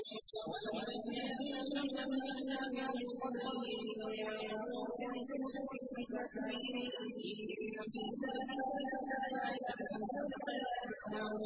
أَوَلَمْ يَهْدِ لَهُمْ كَمْ أَهْلَكْنَا مِن قَبْلِهِم مِّنَ الْقُرُونِ يَمْشُونَ فِي مَسَاكِنِهِمْ ۚ إِنَّ فِي ذَٰلِكَ لَآيَاتٍ ۖ أَفَلَا يَسْمَعُونَ